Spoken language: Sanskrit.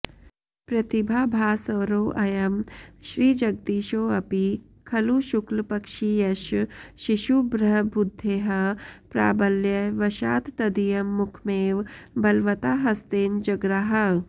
प्रतिभाभास्वरोऽयं श्रीजगदीशोऽपि खलु शुक्लपक्षीयश शिशुभ्रबुद्धेः प्राबल्य वशात् तदीयं मुखमेव बलवता हस्तेन जग्राह